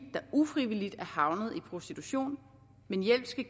der ufrivilligt er havnet i prostitution men hjælp skal